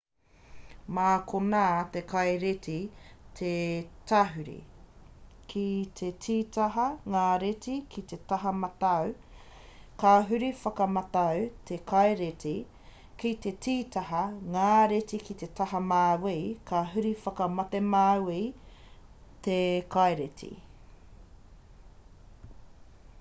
mā konā te kaireti e tahuri ki te tītaha ngā reti ki te taha matau ka huri whakatematau te kaireti ki te tītaha ngā reti ki te taha mauī ka huri whakatemauī te kaireti